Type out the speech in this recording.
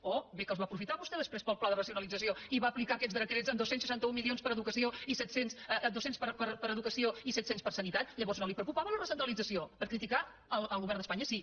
oh bé que els va aprofitar vostè després per al pla de racionalització i va aplicar aquests decrets amb dos cents milions per a educació i set cents per a sanitat llavors no el preocupava la recentralització per criticar el govern d’espanya sí